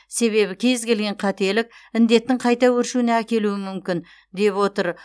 себебі кез келген қателік індеттің қайта өршуіне әкелуі мүмкін деп отыр